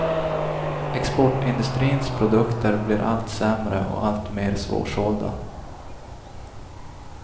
Exportindustrins produkter blir allt sämre och allt mer svårsålda.